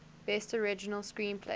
best original screenplay